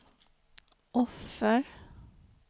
offer